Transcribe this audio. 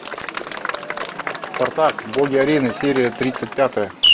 спартак боги арены серия тридцать пятая